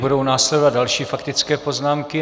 Budou následovat další faktické poznámky.